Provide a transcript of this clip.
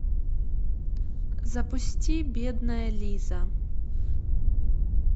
запусти бедная лиза